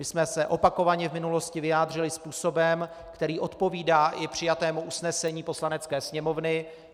My jsme se opakovaně v minulosti vyjádřili způsobem, který odpovídá i přijatému usnesení Poslanecké sněmovny.